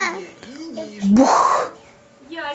бух